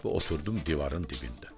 Mən oturdum divarın dibində.